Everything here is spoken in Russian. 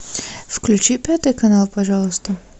включи пятый канал пожалуйста